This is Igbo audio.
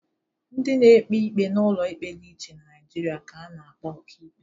Ndị na-ekpe ikpe n'ụlọ ikpe dị iche n'Naịjịrịa ka a na-akpọ ọkaikpe.